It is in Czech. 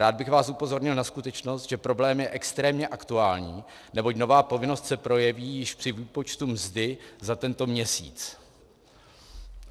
Rád bych vás upozornil na skutečnost, že problém je extrémně aktuální, neboť nová povinnost se projeví již při výpočtu mzdy za tento měsíc.